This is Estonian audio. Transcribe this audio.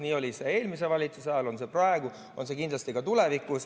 Nii oli see eelmise valitsuse ajal, nii on see praegu ja nii on see kindlasti ka tulevikus.